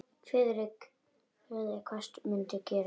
Friðrik kvaðst mundu gera það.